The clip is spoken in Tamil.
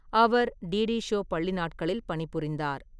அவர் டிடி ஷோ பள்ளி நாட்களில் பணிபுரிந்தார்.